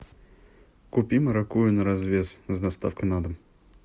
купи маракуйю на развес с доставкой на дом